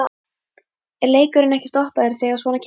Er leikurinn ekki stoppaður þegar svona kemur fyrir?